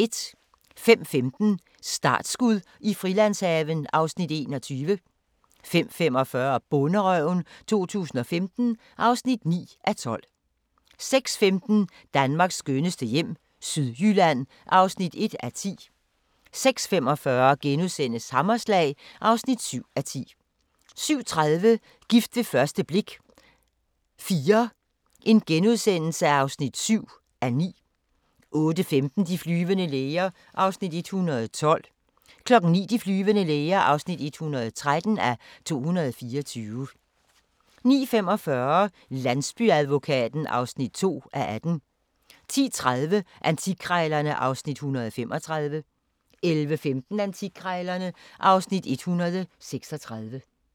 05:15: Startskud i Frilandshaven (Afs. 21) 05:45: Bonderøven 2015 (9:12) 06:15: Danmarks skønneste hjem - Sydjylland (1:10) 06:45: Hammerslag (7:10)* 07:30: Gift ved første blik – IV (7:9)* 08:15: De flyvende læger (112:224) 09:00: De flyvende læger (113:224) 09:45: Landsbyadvokaten (2:18) 10:30: Antikkrejlerne (Afs. 135) 11:15: Antikkrejlerne (Afs. 136)